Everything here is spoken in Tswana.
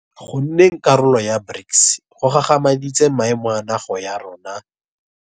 Go nneng karolo ya BRICS go gagamaditse maemo a naga ya rona.